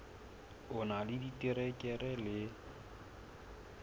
o na le diterekere le